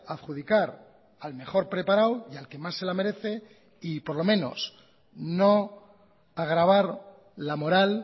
adjudicar al mejor preparado y al que más se la merece y por lo menos no agravar la moral